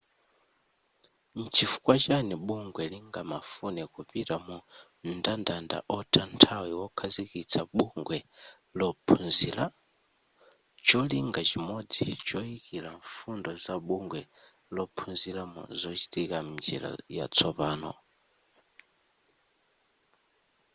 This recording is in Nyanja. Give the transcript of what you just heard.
nchifukwa chani bungwe lingamafune kupita mu mndandanda otha nthawi wokhazikitsa bungwe lophunzira cholinga chimodzi choyikira mfundo za bungwe lophunzira mu zochitika mnjira yatsopano